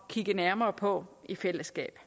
kigge nærmere på i fællesskab